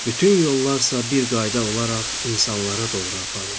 Bütün yollar isə bir qayda olaraq insanlara doğru aparır.